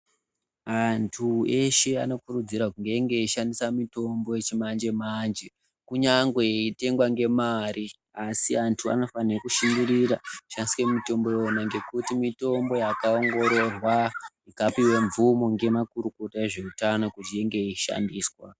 Andu eshee anokurudzirwa kuti enge eyishandisa mitimbo yechimanje manje kunyangwe yeyitengwa nemare asi andu anofane kushingirira kushandise mutombo iyoyo nekuti mitombo yakongororwa nevakuru voutano nemazvikokota kuti inge yeyishandiswa.